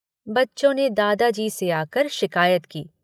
बच्चों ने दादाजी से आकर शिकायत की।